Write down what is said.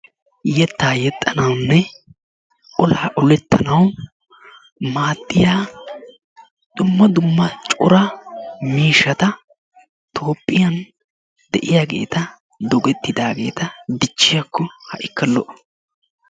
Yettaa yexxanawunne olaa oletanawu maaddiya dumma dumma cora miishshata toophphiyan de'iyaageeta dogettidaageta dichchiyakko ha'ikka lo'o.